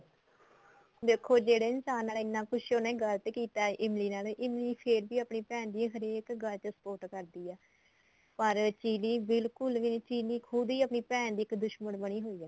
ਦੇਖੋ ਜਿਹੜੇ ਇਨਸਾਨ ਨਾਲ ਇੰਨਾ ਕੁੱਝ ਗਲਤ ਕੀਤਾ ਏ ਇਮਲੀ ਨਾਲ ਇਮਲੀ ਫੇਰ ਵੀ ਆਪਣੀ ਭੈਣ ਦੀ ਹਰੇਕ ਗੱਲ ਚ support ਕਰਦੀ ਏ ਪਰ ਚਿਲੀ ਬਿਲਕੁਲ ਵੀ ਚਿਰੀ ਖੁਦ ਈ ਆਪਣੀ ਭੈਣ ਦੀ ਦੁਸ਼ਮਣ ਬਣੀ ਹੋਈ ਏ